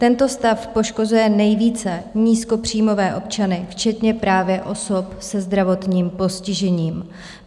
Tento stav poškozuje nejvíce nízkopříjmové občany, včetně právě osob se zdravotním postižením.